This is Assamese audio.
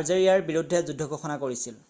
আজেৰিৰ বিৰুদ্ধে যুদ্ধ ঘোষণা কৰিছিল